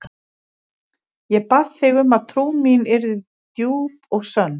Ég bað þig um að trú mín yrði djúp og sönn.